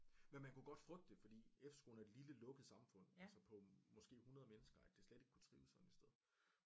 Men man kunne godt frygte det fordi efterskolen er et lille lukket samfund altså på måske 100 mennesker at det slet ikke kunne trives sådan et sted